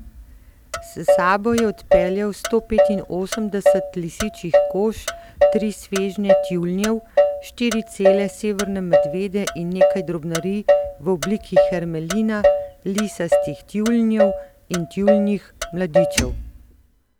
S sabo je odpeljal stopetinosemdeset lisičjih kož tri svežnje tjulnjev, štiri cele severne medvede in nekaj drobnarij v obliki hermelina, lisastih tjulnjev in tjulnjih mladičev.